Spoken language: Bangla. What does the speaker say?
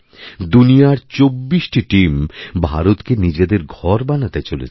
দুনিয়ার চব্বিশটি টিম ভারতকে নিজেদের ঘরবানাতে চলেছে